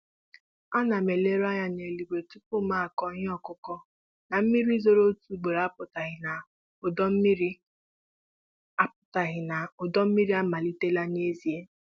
Ana m eleruanya n'eluigwe tupu m kụo ihe ọkụkụ; na mmiri zoro otu ugboro apụtaghị n'udu mmiri apụtaghị n'udu mmiri amalitela n'ezie.